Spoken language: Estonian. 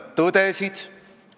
Te lihtsalt ei saa sealt vastust.